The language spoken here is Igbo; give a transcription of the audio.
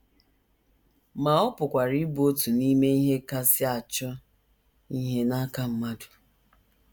Ma ọ pụkwara ịbụ otu n’ime ihe kasị achọ ihe n’aka mmadụ.